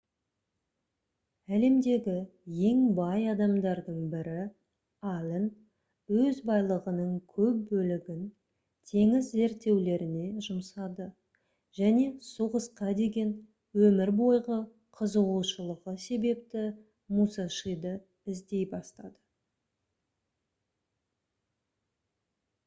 әлемдегі ең бай адамдардың бірі аллен өз байлығының көп бөлігін теңіз зерттеулеріне жұмсады және соғысқа деген өмір бойғы қызығушылығы себепті мусашиді іздей бастады